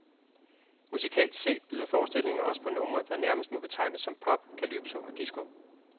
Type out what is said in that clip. Musikalsk set byder forestillingen også på numre, der nærmest må betegnes som pop, calypso og disco.